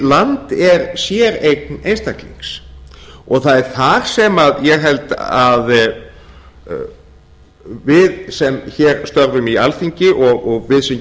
land er séreign einstaklings og það er þar sem ég held að við sem hér störfum í alþingi og við sem